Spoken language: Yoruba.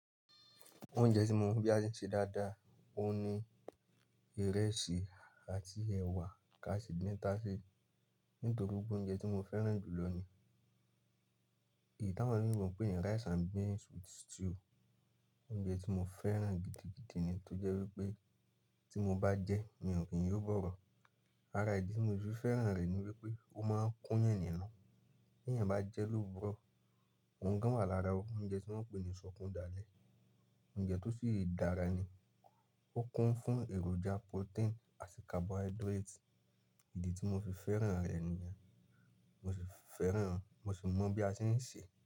Oúnjẹ tí mo mọ̀ bí a ṣe ń ṣe dáadáa òun ni ìrẹsì àti ẹ̀wà káàṣì din tasí nítorí pé ó jẹ́ oúnjẹ tí mo fẹ́ràn jù lọ ní. Eyi tíí awon imí mọ̀ pé ni rice and beans with stew oúnjẹ tí mo fẹ́ràn gidigidi ni tó jẹ́ wípé tí mo bá jẹ́ mi ò kí ń yóò gbọ́rọ̀. Ara ìdí tí mo fi fẹ́ràn rẹ̀ ni wípé ó máa ń kún yàn ninu. Bí ènìyàn bá jẹ́ lóóró, òun gan wà lára ó. Oúnjẹ tí wọ́n pè ní ṣọkún dalẹ, oúnjẹ tó sì dára ni. Ó kún fún èròjà protein àti carbohydrate. Ìdí tí mo fi fẹ́ràn rẹ̀ nìyẹn. Mo sì fẹ́ràn, mo sì mọ̀ bí a ṣe ń ṣe.